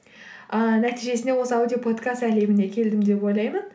ыыы нәтижесінде осы аудиоподкаст әлеміне келдім деп ойлаймын